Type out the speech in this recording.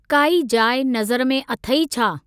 काई जाइ नज़र में अथेइ छा?